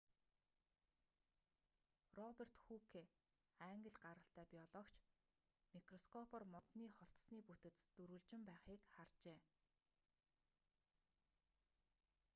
роберт хүүке англи гаралтай биологч микроскопоор модны холтосны бүтэц дөрвөлжин байхыг харжээ